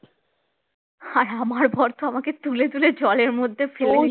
আর আমার বর তো আমাকে তুলে তুলে জলের মধ্যে ফেলছে